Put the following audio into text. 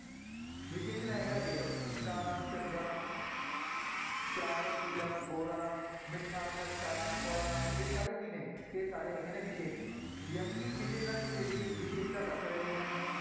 ਵਿਸ਼ੇਸ਼ਣ ਹੈਗਾ a option ਕਾਲਾ, ਚੰਗਾ ਚਾਰ, ਪੀਲਾ, ਗੋਰਾ, ਮਿੱਠਾ, ਖੱਟਾ, ਕੌੜਾ ਇਹ ਸਾਰੇ ਕੀ ਨੇ, ਇਹ ਸਾਰੇ ਹੈਗੇ ਨੇ ਵਿਸ਼ੇਸ਼ਣ ਜਾਣੀ ਕਿ ਕਿਸੇ ਨਾ ਕਿਸੇ ਦੀ ਵਿਸ਼ੇਸ਼ਤਾ ਦੱਸ ਰਹੇ ਹਨ।